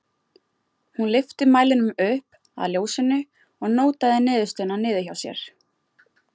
Hún lyfti mælinum upp að ljósinu og nótaði niðurstöðuna niður hjá sér.